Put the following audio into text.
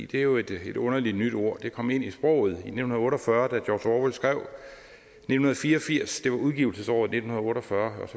det er jo et underligt nyt ord det kom ind i sproget i nitten otte og fyrre da george orwell skrev nitten fire og firs det var udgivelsesåret nitten otte og fyrre